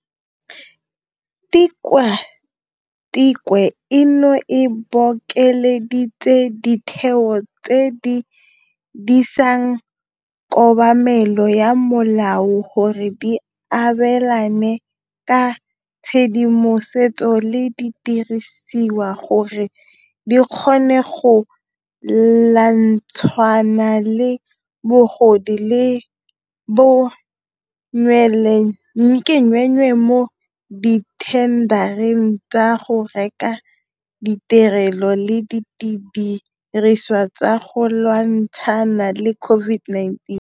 Tikwatikwe eno e bokeleditse ditheo tse di disang kobamelo ya molao gore di abelane ka tshedimosetso le didirisiwa gore di kgone go lwantshana le bogodu le bo nweenwee mo dithendareng tsa go reka ditirelo le didirisiwa tsa go lwantshana le COVID-19.